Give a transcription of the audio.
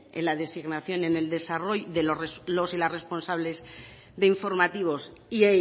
en la designación y en el desarrollo de los y las responsables de informativos y